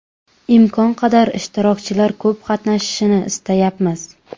Imkon qadar ishtirokchilar ko‘p qatnashishini istayapmiz.